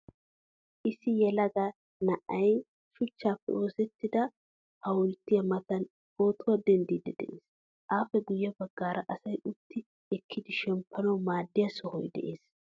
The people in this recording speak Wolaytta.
Issi yelaga na'ay shuchchappe oosettida hawulttiyaa matan pootuwaa denddidi de'ees. Appe guye baggaara asay utti ekkidi shemppanawu maadiya sohoy de'ees.